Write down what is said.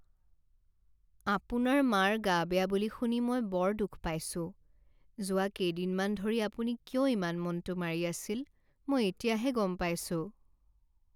আপোনাৰ মাৰ গা বেয়া বুলি শুনি মই বৰ দুখ পাইছোঁ। যোৱা কেইদিনমান ধৰি আপুনি কিয় ইমান মনটো মাৰি আছিল মই এতিয়াহে গম পাইছোঁ।